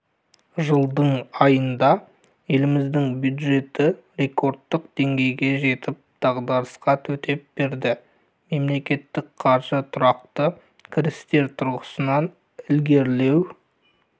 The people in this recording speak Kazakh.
жылдың айында еліміздің бюджеті рекордтық деңгейге жетіп дағдарысқа төтеп берді мемлекеттік қаржы тұрақты кірістер тұрғысынан ілгерілеу